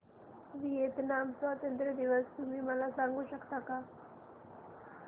Vietnam स्वतंत्रता दिवस तुम्ही मला सांगू शकता का